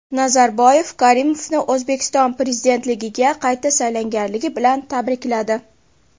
Nazarboyev Karimovni O‘zbekiston prezidentligiga qayta saylangani bilan tabrikladi.